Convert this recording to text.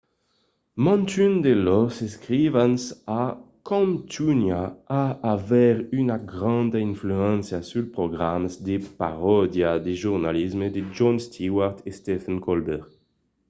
mantun de lors escrivans a contunhat a aver una granda influéncia suls programas de paròdia de jornalisme de jon stewart e stephen colbert